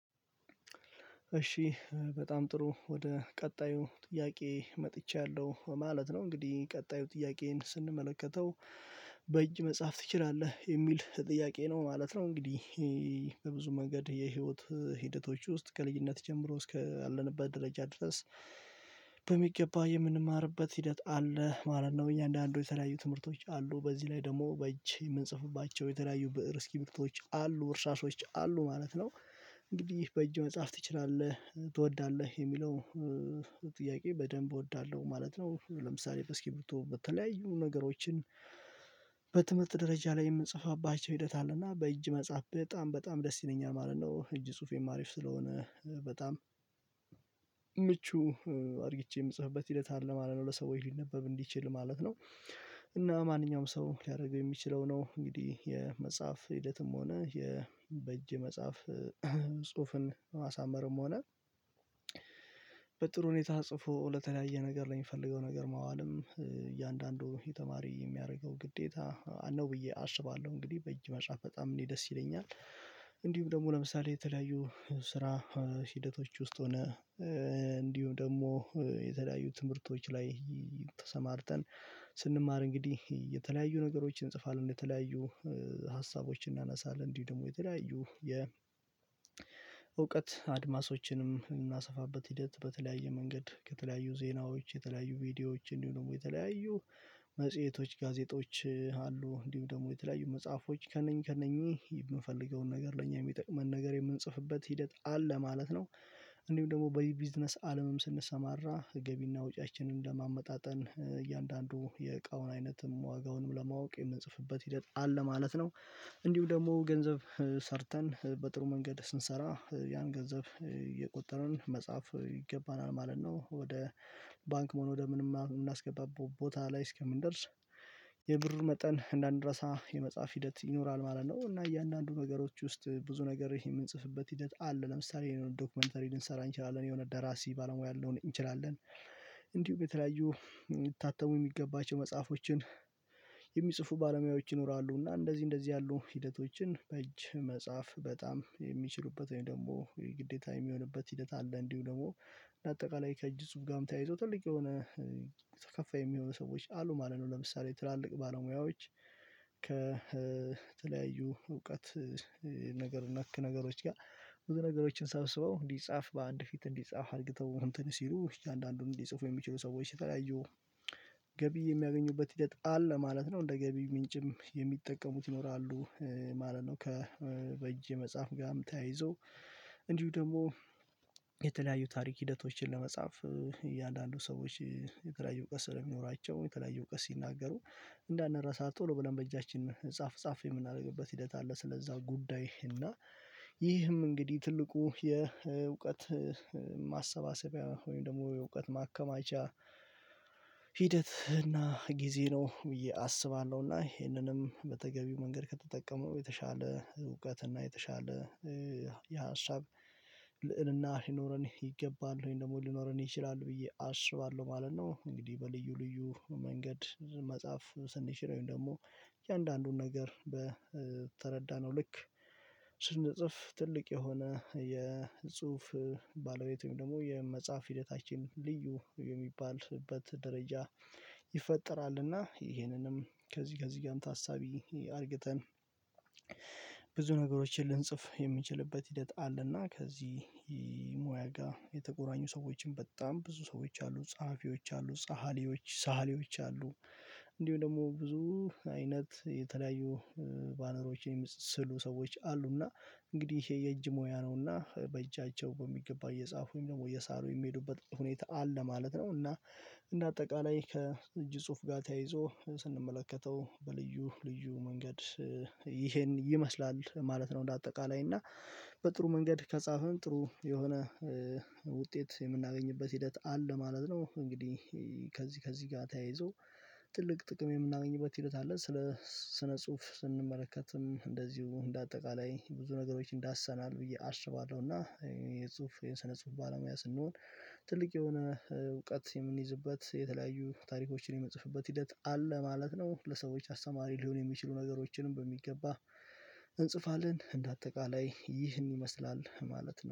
እሺ በጣም ጥሩ ወደ ቀጣዩ ጥያቄ መጥቻለሁ ማለት ነው። እንግዲህ ቀጣዩ ጥያቄን ስንመለከተው በእጅ መጻፍ ትችላለህ የሚል ጥያቄ ነው ማለት ነው። እንግዲህ በብዙ መንገድ የህይወት ሂደቶች ውስጥ ከልጅነት ጀምሮ እስከ እስከ አለንበት ደረጃ ድረስ። በሚገባ የምንማርበት ሂደት አለ ማለት ነው እያንዳንዱ የተለያዩ ትምህርቶች አሉ በዚህ ላይ ደግሞ በእጅ የምንጽፍባቸው የተለያዩ ብእር እስክርቢቶዎች አሉ እርሳሶች አሉ ማለት ነው። እንግዲህ በእጅ መጻፍ ትችላለህ ትወዳለህ የሚለው ጥያቄ በደንብ እወዳለሁ ማለት ነው። ለምሳሌ በስክርቢቶ በተለያዩ ነገሮችን በትምህርት ደረጃ ላይ የምንጽፋባቸው ሂደት አለና በእጅ መጻፍ በጣም በጣም ደስ ይለኛል ማለት ነው። እጅ ጽሁፌም አሪፍ ስለሆነ በጣም ምቹ አድርግቼ የምጽፍበት ሂደት አለ ማለት ነው ለሰው ሊነበብ እንዲችል ማለት ነው። እና ማንኛውም ሰው ሊያደርገው የሚችለው ነው እንግዲህ የመጽሐፍ ሂደትም ሆነ የ በእጅ የመጻፍ ጽሁፍን ማሳመርም ሆነ። በጥሩ ሁኔታ ጽፎ ለተለያየ ነገር ለሚፈልገው ነገር ማዋልም እያንዳንዱ ተማሪ የሚያደርገው ግዴታ ነው ብዬ አስባለሁ። እንግዲህ በእጅ መጻፍ በጣም እኔ ደስ ይለኛል። እንዲሁም ደግሞ ለምሳሌ የተለያዩ ስራ ሂደቶች ውስጥ ሆነ እንዲሁ ደግሞ የተለያዩ ትምህርቶች ላይ ተሰማርተን። ስንማር እንግዲህ የተለያዩ ነገሮችን እንጽፋለን ለተለያዩ ሀሳቦችን እናነሳለን እንዲህ ደግሞ የተለያዩ የ እውቀት አድማሶችንም የምናሰፋበት ሂደት በተለያየ መንገድ ከተለያዩ ዜናዎች የተለያዩ ቪዲዮዎች እንዲሆኑም ደግሞ የተለያዩ መጽሄቶች ጋዜጦች አሉ እንዲሁም ደግሞ የተለያዩ መጽሐፎች ከእነኚህ ከእነኚህ የምፈልገውን ነገር ለእኛ የሚጠቅመን ነገር የምንጽፍበት ሂደት አለ ማለት ነው። እንዲሁም ደግሞ በዚህ ቢዝነስ አለምም ስንሰማራ ገቢና ወጪያችንን ለማመጣጠን እያንዳንዱ የእቃውን አይነትም ዋጋውንም ለማወቅ የምንጽፍበት ሂደት አለ ማለት ነው። እንዲሁ ደግሞ ገንዘብ ሰርተን በጥሩ መንገድ ስንሰራ ያን ገንዘብ እየቆጠርን መጻፍ ይገባናል ማለት ነው። ወደ ባንክም ሆነ ወደ ምንም ምናስገባበት ቦታ ላይ እስከምንደርስ የብር መጠን እንዳንረሳ የመጻፍ ሂደት ይኖራል ማለት ነው። እና እያንዳንዱ ነገሮች ውስጥ ብዙ ነገር ይሄ የምንጽፍበት ሂደት አለ። ለምሳሌ የሆነ ዶክመንተሪ ልንሰራ እንችላለን ደራሲ ባለሙያ ልንሆን እንችላለን እንዲሁም የተለያዩ ሚታተሙ የሚገባቸው መጽሐፎችን የሚጽፉ ባለሙያዎች ይኖራሉና። እና እንደዚህ እንደዚህ ያሉ ሂደቶችን በእጅ መጻፍ በጣም ወይም ደግሞ የግዴታ የሚሆንበት ሂደት አለ። እንዲሁ ደግሞ በአጠቃላይ ከእጅ ጽሁፍ ጋም ተያይዞ ትልቅ የሆነ ተከፋይ የሚሆኑ ሰዎች አሉ ማለት ነው። ለምሳሌ ትላልቅ ባለሙያዎች ከተለያዩ እውቀት ነገር ነክ ነገሮች ጋር ብዙ ነገሮችን ሰብስበው እንዲፃፍ በአንድ ፊት እንዲጻፍ አርግተው እንትን ሲሉ እያንዳንዱን እንዲፅፉ የሚችሉ ሰዎች የተለያዩ ገቢ የሚያገኙበት ሂደት አለ ማለት ነው እንደ ገቢ ምንጭም የሚጠቀሙት ይኖራሉ ማለት ነው። ከ በእጅ የመጻፍ ጋርም ተያይዘው እንዲሁም ደግሞ የተለያዩ ታሪክ ሂደቶችን ለመጻፍ እያንዳንዱ ሰዎች የተለያዩ በስዕል የሚኖራቸው የተለያዩ በስ ሲናገሩ እንዳናረሳ ቶሎ ብለን በእጃችን ጻፍ ጻፍ የምናደርግበት ሂደት አለ። ስለዛ ጉዳይ እና ይህም እንግዲህ ትልቁ የ እውቀት ማሰባሰብ ወይም ደግሞ የእውቀት ማከማቻ ሂደት እና ጊዜ ነው። ብዬ አስባለሁ እና ይሄንንም በተገቢው መንገድ ከተጠቀምነው የተሻለ እውቀት እና የተሻለ የሀሳብ ልዕልና ሊኖረን ይገባል ወይም ደግሞ ሊኖረን ይችላል ብዬ አስባለሁ ማለት ነው። እንግዲህ በልዩ ልዩ መንገድ ብዙ መጻፍ ስንችል ወይም ደግሞ እያንዳንዱን ነገር በ ተረዳነው ልክ ስንጽፍ ትልቅ የሆነ የጽሁፍ ባለቤት ወይም ደግሞ የመጻፍ ሂደታችን ልዩ የሚባልበት ደረጃ ይፈጠራልና። ይሄንንም ከዚህ ከዚህ ጋም ታሳቢ አርግተን ብዙ ነገሮችን ልንጽፍ የምንችልበት ሂደት አለና። ከዚህ ሞያ የተቆራኙ ሰዎችን በጣም ብዙ ሰዎች አሉ ፀሐፊዎች አሉ ሰሀሊዎች ሰአሊዎች አሉ። እንዲሁም ደግሞ ብዙ አይነት የተለያዩ ባነሮችን የሚ ስስሉ ሰዎች አሉና እንግዲህ ይሄ የእጅ ሙያ ነውና በእጃቸው በሚገባ እየጻፉ ወይም ደግሞ እየሳሉ የሚሄዱበት ሁኔታ አለ ማለት ነው። እና እንደ አጠቃላይ ከእጅ ጽሁፍ ጋር ተያይዞ ስንመለከተው በልዩ ልዩ መንገድ ይሄን ይመስላል ማለት ነው። እንደ አጠቃላይ እና በጥሩ መንገድ ከፃፍን ጥሩ የሆነ ውጤት የምናገኝበት ሂደት አለ ማለት ነው። እንግዲህ ከዚህ ከዚህ ጋር ተያይዞ ትልቅ ጥቅም የምናገኝበት ሂደት አለ ስለ ስነ ጽሁፍ ስንመለከትም እንደዚሁ እንደ አጠቃላይ ብዙ ነገሮች ዳስሰናል ብዬ አስባለሁ። እና የጽሁፍ የሰነ ጽሁፍ ባለሙያ ስንሆን ትልቅ የሆነ እውቀት የምንይዝበት የተለያዩ ታሪኮችን የምንጽፍበት ሂደት አለ ማለት ነው። ለሰዎች አስተማሪ ሊሆን የሚችሉ ነገሮችንም በሚገባ እንጽፋለን እንደ አጠቃላይ ይህን ይመስላል ማለት ነው